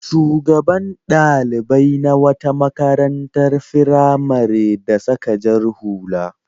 Shugaban ɗalibai na wata makarantar firamare da saka jar hula.